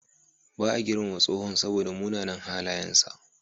Ba a girmama tsohon saboda munanan halayensa.